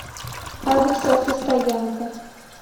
адрес автостоянка